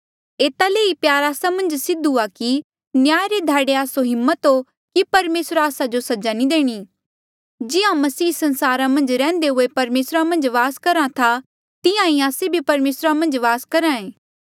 एता ले ई प्यार आस्सा मन्झ सिद्ध हुआ कि न्याय रे ध्याड़े आस्सो हिम्मत हो कि परमेसरा आस्सा जो सजा नी देणी जिहां मसीह संसारा मन्झ रैहन्दे हुए परमेसरा मन्झ वास करहा था तेह्ड़ा ई आस्से भी परमेसरा मन्झ वास करहा ऐें